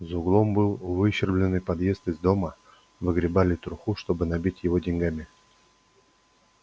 за углом был выщербленный подъезд из дома выгребали труху чтобы набить его деньгами